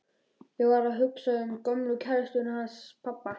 Ég var að hugsa um gömlu kærustuna hans pabba.